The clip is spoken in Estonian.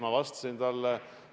Ma vastasin talle.